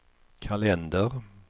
kalender